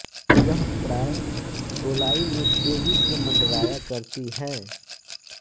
यह प्राय गोलाई में तेजी से मँडराया करती है